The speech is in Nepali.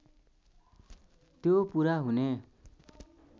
त्यो पुरा हुने